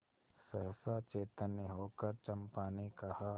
सहसा चैतन्य होकर चंपा ने कहा